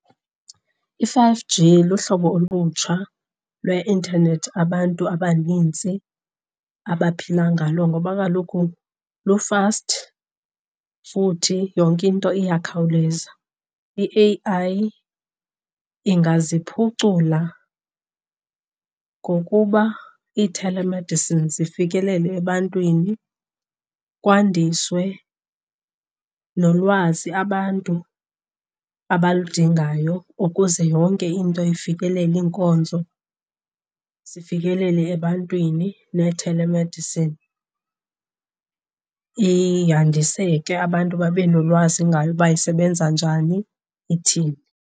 I-five G luhlobo olutsha lweintanethi abantu abanintsi abaphila ngalo ngoba kaloku lu-fast futhi yonke into iyakhawuleza. I-A_I ingaziphucula ngokuba ii-telemedicine zifikelele ebantwini kwandiswe nolwazi abantu abaludingayo ukuze yonke into ifikelele, iinkonzo zifikelele ebantwini. Nee-telemedicine yandiseke, abantu babe nolwazi ngayo uba isebenza njani, ithini.